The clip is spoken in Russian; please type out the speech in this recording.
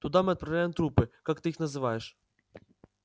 туда мы отправляем трупы как ты их называешь